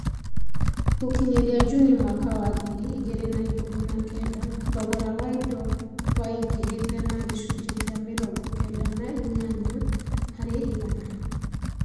Gũkinyĩria Juni mwaka wa ngiri igĩrĩ na ikũmi na kenda, thogora wa indo waingĩhĩte na gĩcunjĩ kĩa mĩrongo kenda na inyanya harĩ igana.